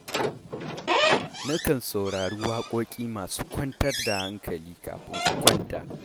Na kan saurari waƙoƙi masu kwantar da hankali kafin in kwanta.